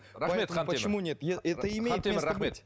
рахмет хантемір хантемір рахмет